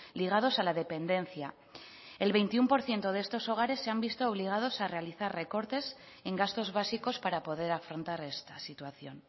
ligados a la dependencia el veintiuno por ciento de estos hogares se han visto obligados a realizar recortes en gastos básicos para poder afrontar esta situación